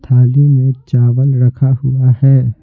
थाली में चावल रखा हुआ है।